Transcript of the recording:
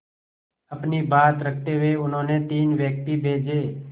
अपनी बात रखते हुए उन्होंने तीन व्यक्ति भेजे